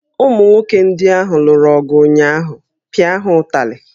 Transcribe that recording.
Ụmụ nwoke ndị ahụ lụrụ ọgụ ụnyaahụ, pịa ha ụtalị!